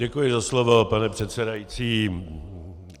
Děkuji za slovo, pane předsedající.